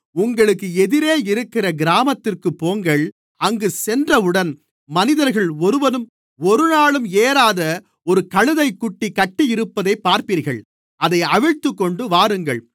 உங்களுக்கு எதிரே இருக்கிற கிராமத்திற்குப் போங்கள் அங்கு சென்றவுடன் மனிதர்கள் ஒருவனும் ஒருநாளும் ஏறாத ஒரு கழுதைக்குட்டி கட்டியிருப்பதைப் பார்ப்பீர்கள் அதை அவிழ்த்துக்கொண்டுவாருங்கள்